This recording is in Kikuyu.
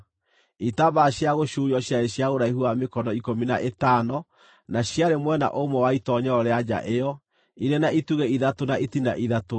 Itambaya cia gũcuurio ciarĩ cia ũraihu wa mĩkono ikũmi na ĩtano, na ciarĩ mwena ũmwe wa itoonyero rĩa nja ĩyo, irĩ na itugĩ ithatũ na itina ithatũ;